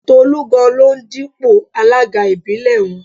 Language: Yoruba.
Tolú gan-an ló ń dípò alága ìbílẹ̀ wọn